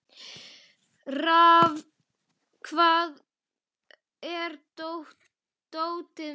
Rafn, hvar er dótið mitt?